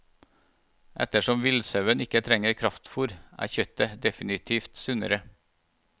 Ettersom villsauen ikke trenger kraftfôr, er kjøttet definitivt sunnere.